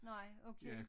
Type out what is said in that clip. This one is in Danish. Nej okay